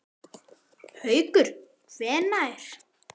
Haukur: Hvenær?